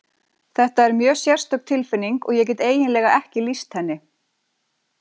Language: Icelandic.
Þetta er mjög sérstök tilfinning og ég get eiginlega ekki lýst henni.